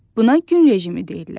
Buna gün rejimi deyirlər.